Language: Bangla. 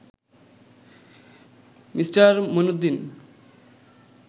মি. মুঈনুদ্দীন